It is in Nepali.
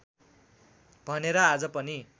भनेर आज पनि